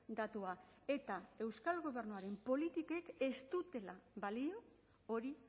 datua eta euskal gobernuaren politikek ez dutela balio hori